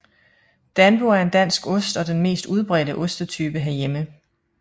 Danbo er en dansk ost og den mest udbredte ostetype herhjemme